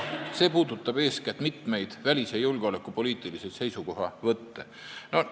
See puudutab eeskätt mitmeid välis- ja julgeolekupoliitilisi seisukohavõtte.